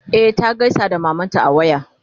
e ta gaisa da mamanta a waya.